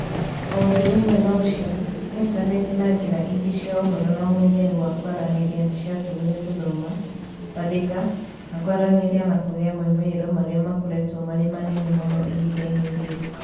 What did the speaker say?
O ũndũ ũmwe na ũcio, Intaneti na njĩra ingĩ cia ũhoro na ũmenyeru wa kwaranĩria nĩ ciatũmire gũthoma, kwandĩka, na kwaranĩria na kũgĩe moimĩrĩro marĩa makoretwo marĩ manene mũno ihinda-inĩ rĩrĩ.